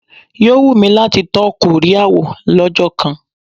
Yóò wù mí láti tọ́ Kóríà wò lọ́jọ́ kan.